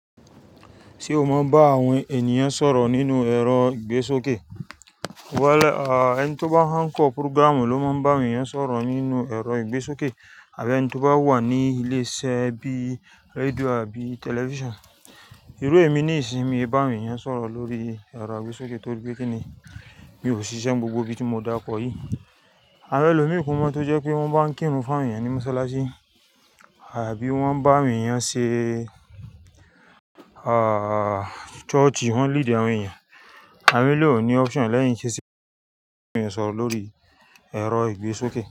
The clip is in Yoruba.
Ṣé o mọ bá àwọn ènìyàn sọ̀rọ̀ nínú ẹ̀rọ ìgbésókè? Wẹ̀, ẹni tó bá hán kọ́ púrógírámù ló máa ń bá ènìyàn sọ̀rọ̀ nínú ẹ̀rọ ìgbésókè àbí ẹni tí ó bá wà ní ilé iṣẹ́ bí i rédíò àbí tẹlifíṣàn. Irú èmi níìsín mi bá awọ́n ènìyàn sọ̀rọ̀ lórí ẹ̀rọ ìgbésókè torí pé kíni mi ò ṣiṣẹ́ gbogbo ibi tí mo dákọ yí. Àmọ́ ẹlòmíì kun mọ́ tó jẹ́ pé wọ́n bá ń kírun fún àwọn ènìyàn ní Mọ́ṣáláṣí àbí wọ́n nbá awọ́n ènìyàn ṣe, ah, ṣọ́ọ̀ṣì, wọ́n líìdì àwọn ènìyàn. Àmi lè ò ní option lẹ́yìn ṣíṣe kí ènìyàn sọ̀rọ̀ lórí ẹ̀rọ ìgbésókè.